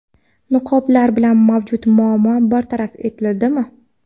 Niqoblar bilan mavjud muammo bartaraf etildimi?.